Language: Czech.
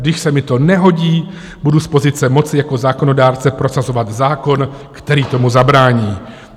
Když se mi to nehodí, budu z pozice moci jako zákonodárce prosazovat zákon, který tomu zabrání.